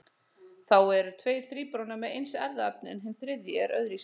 Þá eru tveir þríburana með eins erfðaefni en hinn þriðji er öðruvísi.